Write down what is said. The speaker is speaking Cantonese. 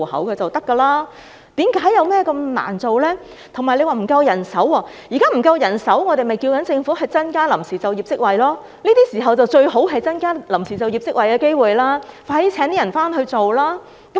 至於政府表示人手不足，我們認為如果是因為現時人手不足，政府便應增加臨時就業職位，這是最適合增加臨時就業職位的時機，當局應加快聘請人手處理。